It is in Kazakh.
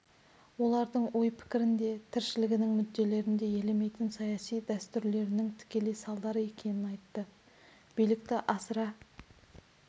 олардың ой-пікірін де тіршілігінің мүдделерін де елемейтін саяси дәстүрлерінің тікелей салдары екенін айтты билікті асыра